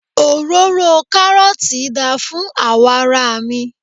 òróró karọọti da fún awọ ara mi